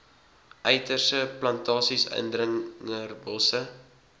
uiterstes plantasies indringerbosse